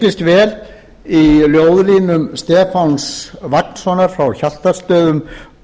speglist vel í ljóðlínum stefáns vagnssonar frá hjaltastöðum